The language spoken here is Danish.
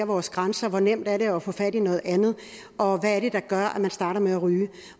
vores grænser hvor nemt det er at få fat i noget andet og hvad det er der gør at man starter med at ryge